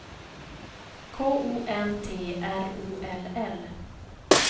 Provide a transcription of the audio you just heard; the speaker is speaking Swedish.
K O N T R O L L